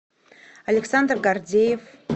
александр гордеев